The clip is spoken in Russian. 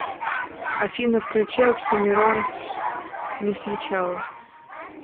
афина включи оксимирон не с начала